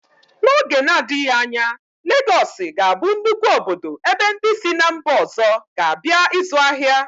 N'oge na-adịghị anya, Legọọsị ga-abụ nnukwu obodo ebe ndị si ná mba ọzọ ga-abịa ịzụ ahịa.